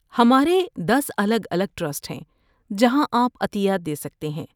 ہمارے دس الگ الگ ٹرسٹ ہیں جہاں آپ عطیات دے سکتے ہیں